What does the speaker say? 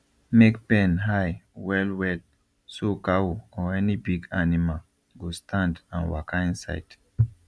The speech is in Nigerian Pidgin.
make pen high well well so cow or any big animal go stand and waka inside